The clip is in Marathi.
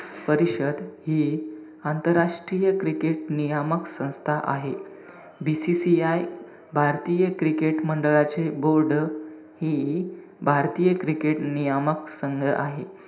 परिषद हि आंतरराष्ट्रीय cricket नियामक संस्था आहे. BCCI भारतीय cricket मंडळाचे board हि भारतीय cricket नियामक संस्था आहे.